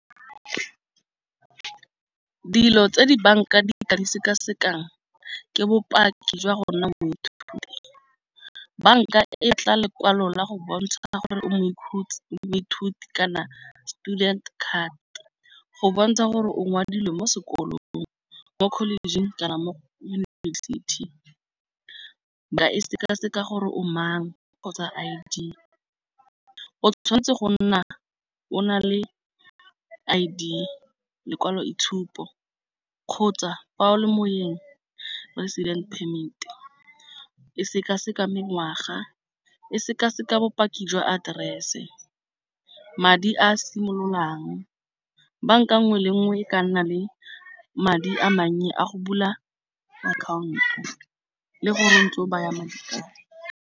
Dilo tse di banka di ka di sekasekang ke bopaki jwa go ona moithuti. Banka e tla lekwalo la go bontsha gore o moithuti kana student card go bontsha gore o ngwadilwe mo sekolong mo college-ing kana mo o neilweng yunibesithi ba e sekaseka gore o mang o, kgotsa I_D o tshwanetse go nna o na le I_D lekwalo itshupo, kgotsa fa o le moyeng resident permit, e sekaseka mengwaga, e sekaseka bopaki jwa address seo. Madi a simololang banka nngwe le nngwe e ka nna le madi a mannye a go bula akhaonto le gore ntse o baya madi.